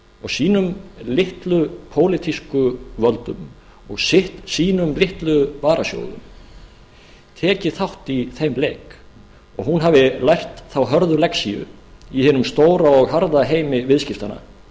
og sínum litlu pólitísku völdum og sínum litlu varasjóðum tekið þátt í þeim leik og hún hafi lært þá hörðu lexíu í hinum stóra og harða heimi viðskiptanna að